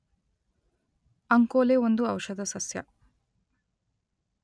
ಅಂಕೋಲೆ ಒಂದು ಔಷಧ ಸಸ್ಯ.